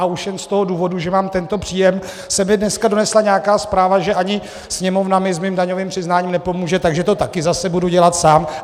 A už jen z toho důvodu, že mám tento příjem, se mi dneska donesla nějaká zpráva, že ani Sněmovna mi s mým daňovým přiznáním nepomůže, takže to taky zase budu dělat sám.